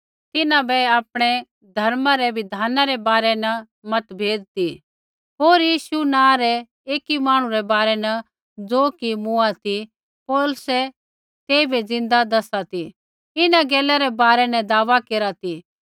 तिन्हां बै आपणै धर्मा रै बिधाना रै बारै न मतभेद ती होर यीशु नाँ रै एकी मांहणु रै बारै न ज़ो कि मूँआ ती पौलुस तेइबै ज़िन्दा दैसा ती इन्हां गैलै रै बारै न दावा केरा ती